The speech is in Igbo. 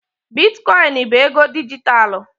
Biticoinu bụ ego dijitalụ.